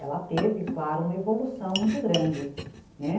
Ela teve, claro, uma evolução muito grande, né.